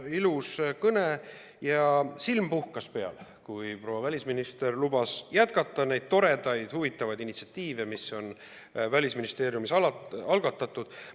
Ilus kõne ja silm puhkas peal, kui proua välisminister lubas jätkata neid toredaid, huvitavaid initsiatiive, mis on Välisministeeriumis algatatud.